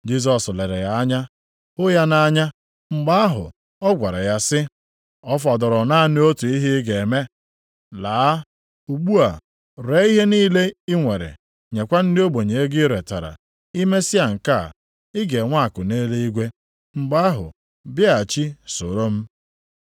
Jisọs lere ya anya, hụ ya nʼanya. Mgbe ahụ, ọ gwara ya sị, “Ọ fọdụrụ naanị otu ihe ị ga-eme. Laa, ugbu a, ree ihe niile i nwere, nyekwa ndị ogbenye ego i retara. I mesịa nke a, ị ga-enwe akụ nʼeluigwe. Mgbe ahụ bịaghachi soro m.”